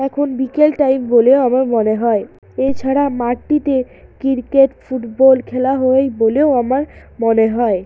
এখন বিকেল টাইম বলেও আমার মনে হয় এছাড়া মাঠটিতে কিরকেট ফুটবল খেলা হয় বলেও আমার মনে হয়।